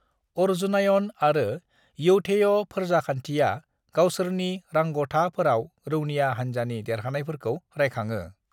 अर्जुनायण आरो यौधेय फोरजाखान्थिया गावसोरनि रांग'थाफोराव रौनिया हानजानि देरहानायफोरखौ रायखाङो।